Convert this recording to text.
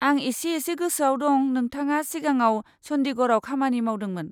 आं इसे इसे गोसोआव दं नोंथाङा सिगाङाव चन्डीगढ़ाव खामानि मावदोंमोन।